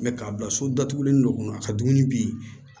Mɛ k'a bila so datugulen dɔ kɔnɔ a ka dumuni bi